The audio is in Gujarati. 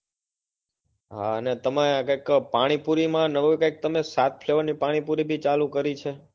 હાં અને તમે કઈક પાણીપુરી માં નવી તમે કઈક સાત flavour ની પણ ચાલુ કરી છે.